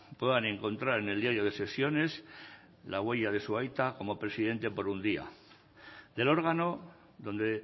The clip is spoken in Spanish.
puedan encontrar en el diario de sesiones la huella de su aita como presidente por un día del órgano donde